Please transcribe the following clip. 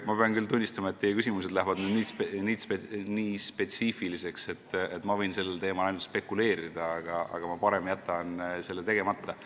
Ma pean tunnistama, et teie küsimused lähevad nii spetsiifiliseks, et ma võiksin sellel teemal ainult spekuleerida, aga ma jätan selle parem tegemata.